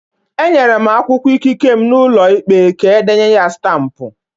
Enyere m akwụkwọ ikike m n'ụlọ ikpe ka e denye ya stampụ